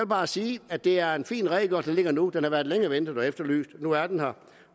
bare sige at det er en fin redegørelse der ligger nu den har været længe ventet og efterlyst nu er den her